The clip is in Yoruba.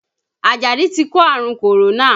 Ajadi ti kó àrùn kòrónà